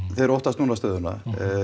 þeir óttast núna stöðuna